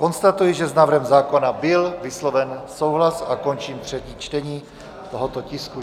Konstatuji, že s návrhem zákona byl vysloven souhlas, a končím třetí čtení tohoto tisku.